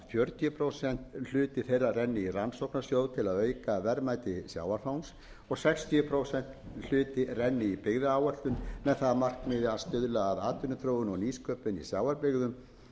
fjörutíu prósent hluti þeirra renni í rannsóknasjóð til að auka verðmæti sjávarfangs og sextíu prósent hluti renni í byggðaáætlun með það að markmiði að stuðla að atvinnuþróun og nýsköpun í sjávarbyggðum